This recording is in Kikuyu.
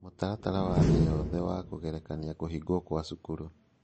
Mĩtaratara wa thĩ yothe wa kũgerekania kũhingwo kwa cukuru